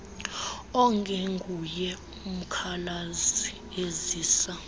ongenguye umkhalazi ezisa